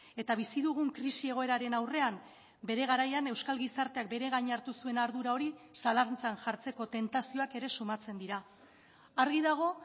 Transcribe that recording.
eta bizi dugun krisi egoeraren aurrean bere garaian euskal gizarteak bere gain hartu zuen ardura hori zalantzan jartzeko tentazioak ere sumatzen dira argi dago